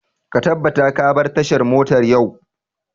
Ka tabbata ka bar tashar motar yau!